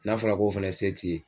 N'a fɔra k'o fɛnɛ se t'i ye